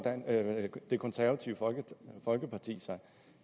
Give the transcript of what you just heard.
det konservative folkeparti sig